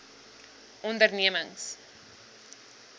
ondernemings